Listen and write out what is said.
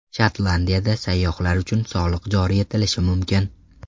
Shotlandiyada sayyohlar uchun soliq joriy etilishi mumkin.